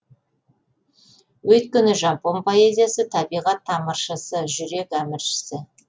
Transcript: өйткені жапон поэзиясы табиғат тамыршысы жүрек әміршісі